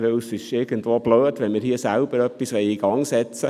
Es wäre irgendwie dumm, wenn wir hier selber etwas in Gang setzten.